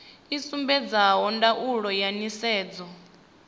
i sumbedza ndaulo ya nisedzo